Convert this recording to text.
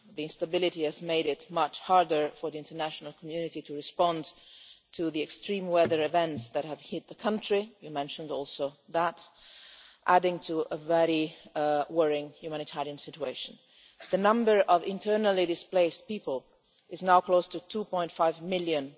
The instability has made it much harder for the international community to respond to the extreme weather events that have hit the country you also mentioned that adding to a very worrying humanitarian situation. The number of internally displaced people is now close to 2.5 million,